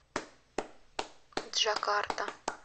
джакарта